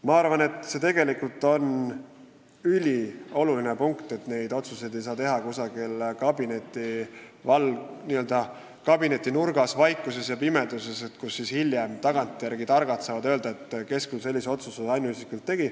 Minu arvates on ülioluline, et neid otsuseid ei saa teha kusagil kabinetinurgas, vaikuses ja pimeduses, nii et hiljem saavad tagantjärele targad ohata, kes küll sellise otsuse ainuisikuliselt tegi.